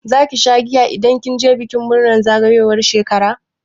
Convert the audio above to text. Zaki sha giya idan kin je bikin murnar zagayowar shekara?